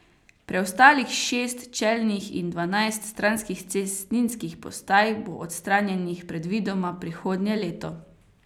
Preostalih šest čelnih in dvanajst stranskih cestninskih postaj bo odstranjenih predvidoma prihodnje leto.